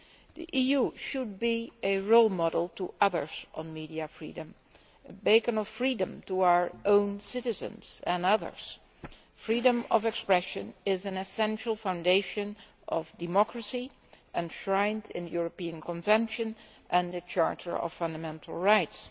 The EU should be a role model on media freedom a beacon of freedom to our own citizens and others. Freedom of expression is an essential foundation of democracy, enshrined in the European Convention and the Charter of Fundamental Rights.